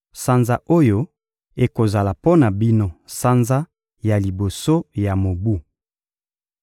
«Sanza oyo ekozala mpo na bino sanza ya liboso ya mobu.